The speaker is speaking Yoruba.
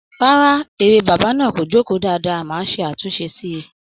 Rárá, eré bàbá náà kò jókòó dáadáa, màá ṣe àtúnṣe síi